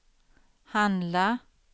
handla